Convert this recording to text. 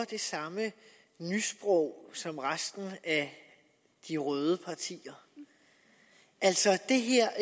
det samme nysprog som resten af de røde partier altså